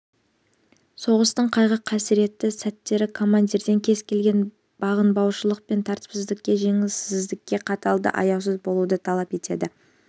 соғыстың қайғы-қасіретті сәттері командирден кез келген бағынбаушылық пен тәртіпсіздікке жөнсіздікке қатал да аяусыз болуды талап етеді